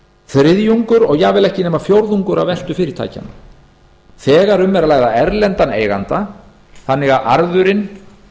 þriðjungur og jafnvel ekki nema fjórðungur af veltu fyrirtækjanna þegar um er að ræða erlendan eiganda þannig að arðurinn